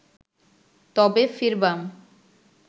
তবে ফিরবাম